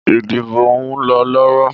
Ìdìbò ùn lọ lọwọ́